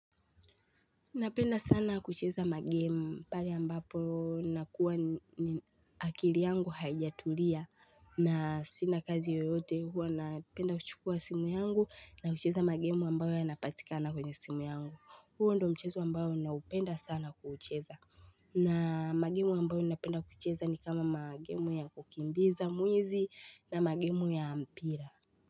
Napenda sana kucheza magemu pale ambapo nakuwa akili yangu haijatulia na sina kazi yoyote huwa napenda kuchukua simu yangu na kucheza magemu ambayo yanapatikana kwenye simu yangu. Huo ndio mchezo ambao naupenda sana kucheza. Na magemu ambayo napenda kucheza ni kama magemu ya kukimbiza mwizi na magemu ya mpira.